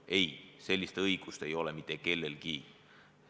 Ei, sellist õigust ei ole mitte kellelgi.